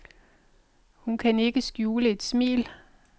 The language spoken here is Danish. Hun kan ikke skjule et smil.